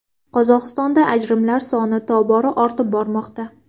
Qozog‘istonda ajrimlar soni tobora ortib bormoqda.